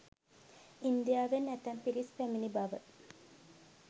ඉන්දියාවෙන් ඇතැම් පිරිස් පැමිණි බව